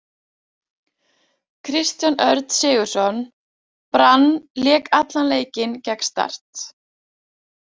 Kristján Örn Sigurðsson, Brann Lék allan leikinn gegn Start.